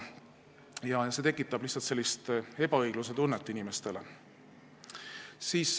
Selline asi tekitab inimestes lihtsalt ebaõiglustunnet.